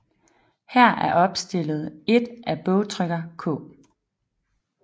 Her er opstillet et af bogtrykker K